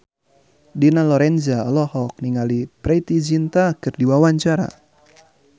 Dina Lorenza olohok ningali Preity Zinta keur diwawancara